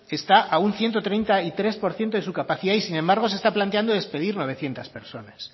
está a un ciento treinta y tres por ciento de su capacidad y sin embargo se está planteando despedir novecientos personas